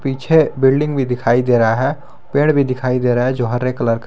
पीछे बिल्डिंग भी दिखाई दे रहा है पेड़ भी दिखाई दे रहा है जो हरे कलर का --